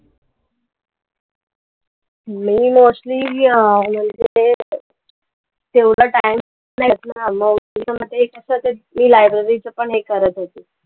मी mostly अं त्यांचं ते एवढा time नाही मिळत ना, मग त्याच्यामध्ये असंच, E library चं पण हे करत होते.